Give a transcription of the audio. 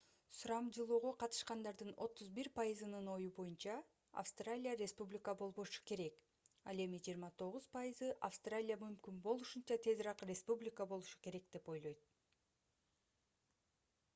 сурамжылоого катышкандардын 31 пайызынын ою боюнча австралия республика болбошу керек ал эми 29 пайызы австралия мүмкүн болушунча тезирээк республика болушу керек деп ойлойт